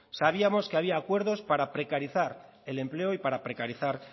sabíamos que había acuerdos para precarizar el empleo y para precarizar